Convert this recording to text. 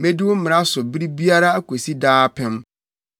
Medi wo mmara so bere biara akosi daa apem.